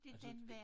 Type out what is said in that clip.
Altså det